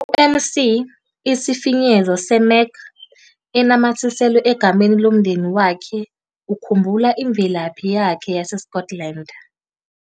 "UMc", sifinyezo seMac, enamathiselwe egameni lomndeni wakhe ukhumbula imvelaphi yakhe yaseScotland.